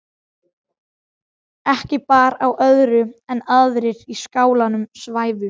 Ekki bar á öðru en aðrir í skálanum svæfu.